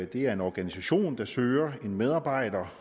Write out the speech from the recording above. det er en organisation der søger en medarbejder